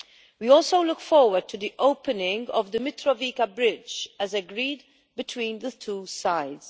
We also look forward to the opening of the Mitrovica Bridge, as agreed between the two sides.